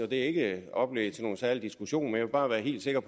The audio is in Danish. det er ikke oplæg til nogen særlig diskussion men jeg vil bare være helt sikker